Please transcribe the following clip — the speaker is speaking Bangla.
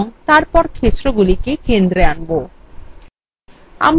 এবং তারপর ক্ষেত্রগুলিকে কেন্দ্রে আনব